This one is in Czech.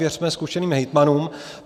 Věřme zkušeným hejtmanům.